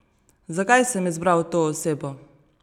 Zakaj sem izbral to osebo?